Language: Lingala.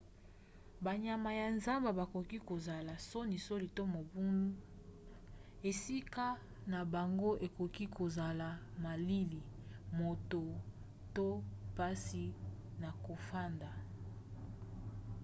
banyama ya zamba bakoki kozala sonisoni to mobulu. esika na bango ekoki kozala malili moto to mpasi na kofanda